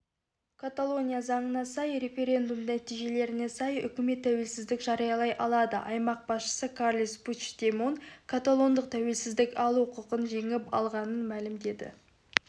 каталония заңына сай референдум нәтижелеріне сай үкімет тәуелсіздік жариялай алады аймақ басшысы карлес пучдемон каталондықтар тәуелсіздік алу құқын жеңіп алғанын мәлімдеді